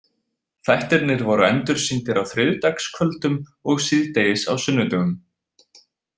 Þættirnir voru endursýndir á þriðjudagskvöldum og síðdegis á sunnudögum.